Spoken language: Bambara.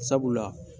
Sabula